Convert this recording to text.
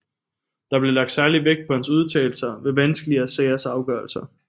Der blev lagt særlig vægt på hans udtalelser ved vanskelige sagers afgørelse